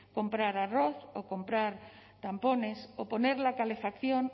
comprar arroz o comprar tampones o poner la calefacción